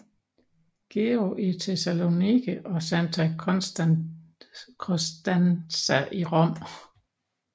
Georg i Tessaloniki og Santa Constanza i Rom